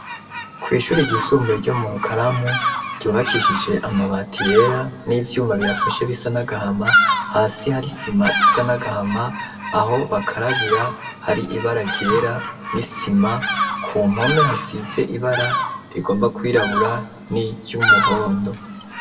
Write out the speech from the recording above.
Kw'ishuri ryisumbuye ryo mu Rukaramu, ryubakishije amabati yera n'ivyuma biyafashe bisa n'agahama, hasi hari sima isa n'agahama aho bakarabira hari ibara ryera n'isima ku mpome hasize ibara rigomba kwirabura n'iry'umuhondo.